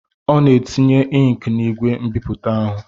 Ọ na-etinye inki n'igwe mbipụta ahụ.